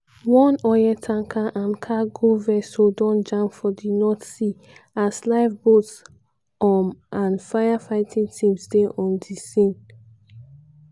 one oil tanker and cargo vessel don jam for di north sea as lifeboats um and firefighting teams dey on di scene.